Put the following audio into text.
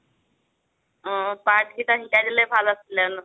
অ' part কেইটা শিকাই দিলে ভাল আছিলে ন।